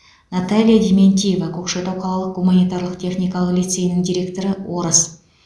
наталья дементьева көкшетау қалалық гуманитарлық техникалық лицейінің директоры орыс